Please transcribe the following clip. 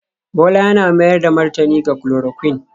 Bola yana mayar da martani ga chloroquine